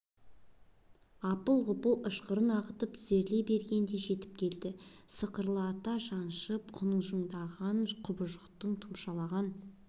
апыл-ғұпыл ышқырын ағытып тізерлей бергенде жетіп келді сықырлата жаншып құнжыңдаған құбыжықтың тұмшалаған